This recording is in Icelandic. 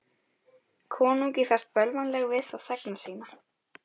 Konungi ferst bölvanlega við þá þegna sína.